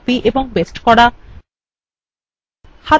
বস্তুকে cut copy paste করা